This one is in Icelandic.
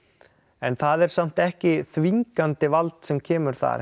en það er samt ekki þvingandi vald sem kemur þar